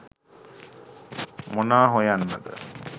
මොනා හොයන්නද